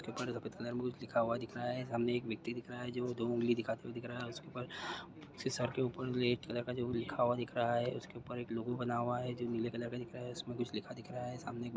ऊपर सफ़ेद कलर में कुछ लिखा हुआ दिख रहा है। सामने एक व्यक्ति दिख रहा है जो दो ऊँगली दिखाते हुए दिख रहा है। उसके ऊपर उसके सर के ऊपर रेड कलर का कुछ लिखा हुआ दिख रहा है। उसके ऊपर एक लोगो बना हुआ है जो नीले कलर का दिख रहा है। इसमें कुछ लिखा दिख रहा है। सामने एक--